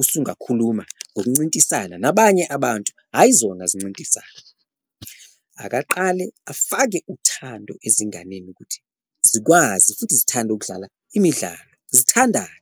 usungakhuluma nokuncintisana nabanye abantu hhayi zona zincintisane, akaqale afake uthando ezinganeni ukuthi zikwazi futhi zithande ukudlala imidlalo, zithandane.